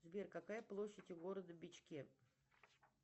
сбер какая площадь у города бичке